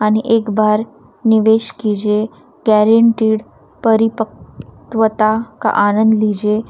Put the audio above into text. आणि एक बार निवेश कीजिए गॅरेंटीड परिपक्वता का आनंद लीजेये.